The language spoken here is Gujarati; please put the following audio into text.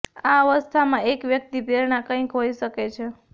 આ અવસ્થામાં એક વ્યક્તિ પ્રેરણા કંઈક હોઈ શકે છે